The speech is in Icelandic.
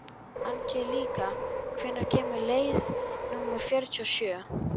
Angelíka, hvenær kemur leið númer fjörutíu og sjö?